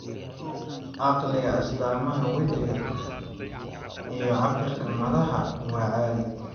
Caqliga, astaamaha wejiga iyo cabbirka madaxa waa caadi.